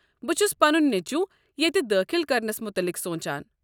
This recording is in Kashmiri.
بہٕ چھُس پنُن نیچُو ییتہِ دٲخل كرنس مُتعلق سونٛچان۔